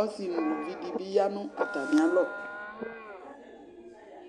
ɔsi nʋ uluvi dɩ bɩ ya nʋ atamɩalɔ